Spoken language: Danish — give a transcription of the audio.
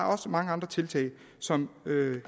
også mange andre tiltag som